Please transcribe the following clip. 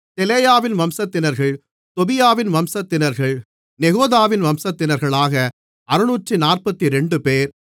தெலாயாவின் வம்சத்தினர்கள் தொபியாவின் வம்சத்தினர்கள் நெகோதாவின் வம்சத்தினர்கள் ஆக 642 பேர்